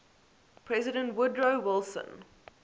president woodrow wilson